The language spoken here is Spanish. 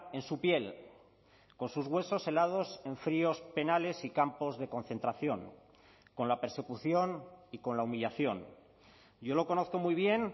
en su piel con sus huesos helados en fríos penales y campos de concentración con la persecución y con la humillación yo lo conozco muy bien